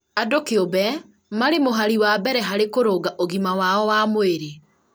andũ kĩũmbe marĩ mũhari wa mbere harĩ kũrũnga ũgima wao wa mwĩrĩ